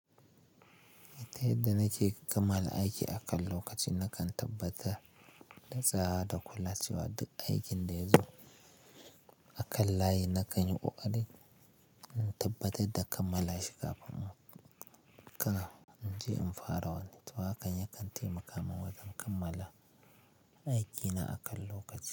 Yadda nake kammala aiki akan lokaci, nakan tabbatar da tsara da kula cewa duk aikin da ya zo a kan layi nakan yi ƙoƙari in tabbatar da kammala shi kafin in je in fara wani. To, hakan ya kantaima kamun wajen kammala aikina akan lokaci.